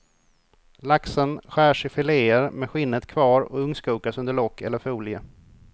Laxen skärs i fileer med skinnet kvar och ugnskokas under lock eller folie.